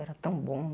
Era tão bom.